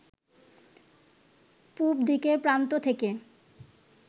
পুবদিকের প্রান্ত থেকে